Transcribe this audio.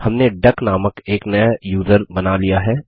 हमने डक नामक एक नया यूज़र बना लिया है